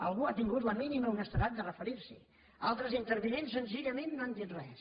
algú ha tingut la mínima honestedat de referir s’hi altres intervinents senzillament no han dit res